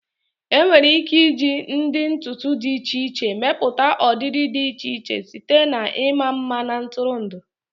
Enwere ike iji ụdị ntutu dị iche iche mepụta ọdịdị dị iche iche, site na ịma mma na ntụrụndụ.